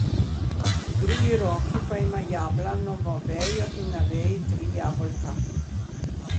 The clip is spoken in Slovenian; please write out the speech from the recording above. V drugi roki pa ima jablanovo vejo in na veji tri jabolka.